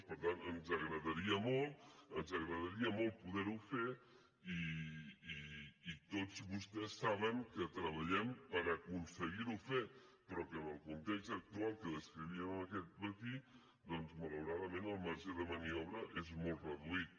per tant ens agradaria molt ens agradaria molt poder ho fer i tots vostès saben que treballem per aconseguir ho fer però que en el context actual que descrivíem aquest matí doncs malauradament el marge de maniobra és molt reduït